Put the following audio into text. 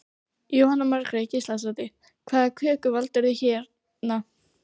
Jóhanna Margrét Gísladóttir: Hvaða köku valdirðu hérna?